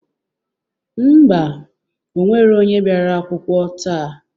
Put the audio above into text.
Ḿbà,o nwero onye bịara akwụkwọ taa.